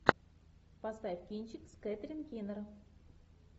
поставь кинчик с кэтрин кинер